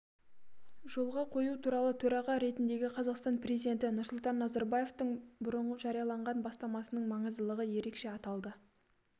жолға қою туралы төрағасы ретіндегі қазақстан президенті нұрсұлтан назарбаевтың бұрын жарияланған бастамасының маңыздылығы ерекше аталды